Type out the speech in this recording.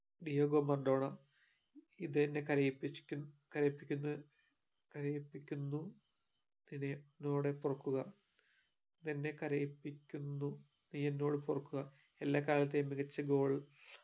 Diego Maradona ഇതെന്നെ കരയിപ്പിച് ക്കുന്ന കരയിപ്പിക്കുന്ന കരയിപ്പിക്കുന്നു നീ എന്നോട് പൊറുക്കുക ഇതെന്നെ കരയിപ്പിക്കുന്നു നീ എന്നോട് പൊറുക്കുക എല്ലാ കാലത്തെയും മികച്ച goal